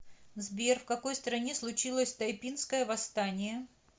сбер в какой стране случилось тайпинское восстание